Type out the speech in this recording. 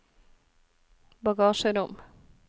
bagasjerom